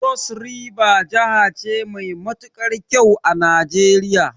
Cross River jahace mai matukar kyau a Nijeriya